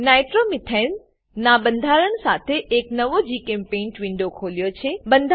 મેં નાઇટ્રોમીથેન નાં બંધારણ સાથે એક નવો જીચેમ્પેઇન્ટ વિન્ડો ખોલ્યો છે